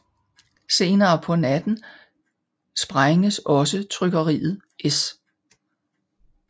Senere på natten sprænges også trykkeriet S